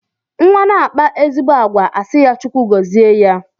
Nwa na-akpa ezigbo àgwà a sị ya Chukwu gọzie ya.